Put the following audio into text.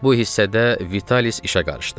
Bu hissədə Vitalis işə qarışdı.